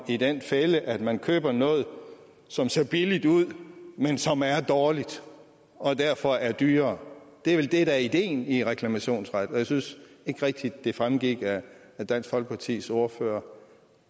i den fælde at man køber noget som ser billigt ud men som er dårligt og derfor er dyrere det er vel det der er ideen i reklamationsret og jeg synes ikke rigtigt at det fremgik af dansk folkepartis ordfører